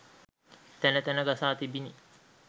තැන තැන ගසා තිබිණි